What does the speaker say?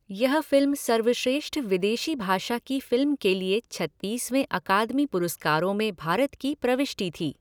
यह फिल्म सर्वश्रेष्ठ विदेशी भाषा की फिल्म के लिए छत्तीसवें अकादमी पुरस्कारों में भारत की प्रविष्टि थी।